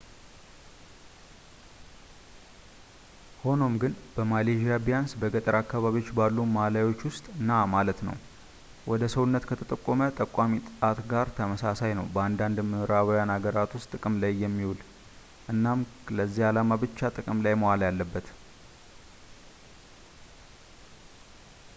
ሆኖም ግን በማሌዥያ ቢያንስ በገጠር አካባቢዎች ባሉ ማላዮች ውስጥ ና ማለት ነው ወደ ሰውነት ከተጠቆመ ጠቋሚ ጣት ጋር ተመሳሳይ ነው በአንዳንድ የምዕራባውያን አገራት ውስጥ ጥቅም ላይ የሚውል እናም ለዚያ ዓላማ ብቻ ጥቅም ላይ መዋል ያለበት